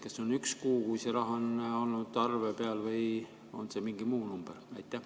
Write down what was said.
Kas see on üks kuu, kui see raha on olnud arve peal, või on see mingi muu number?